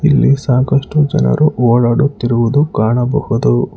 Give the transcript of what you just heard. ಇಲ್ಲಿ ಸಾಕಷ್ಟು ಜನರು ಓಡಾಡುತ್ತಿರುವುದು ಕಾಣಬಹುದು.